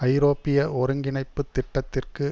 ஐரோப்பிய ஒருங்கிணைப்புத் திட்டத்திற்கு